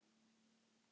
Hvernig var líf þeirra?